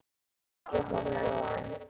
Ég horfði á hann.